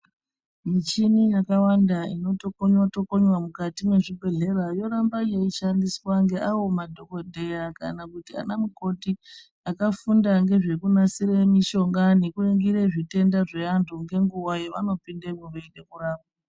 Michina yakawanda inotokonwa tokonwa mukati mezvibhedhlera yoramba yaishandiswa naawo madhokodheya kana kuti anamukoti akafunda nezvekunasire mishonga nekuningire zvitenda zvevantu ngenguva yavano pindemwo veide kurapwa.